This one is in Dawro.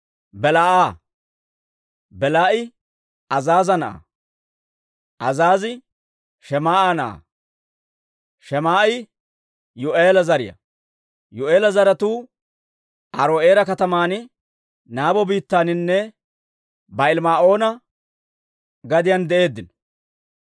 Belaa'a. Belaa'i Azaaza na'aa; Azaazii Shemaa'a na'aa; Shemaa'i Yuu'eela zariyaa. Yuu'eela zaratuu Aaro'eera kataman, Nabo biittaaninne Ba'aali-Ma'oona gadiyaan de'eeddino.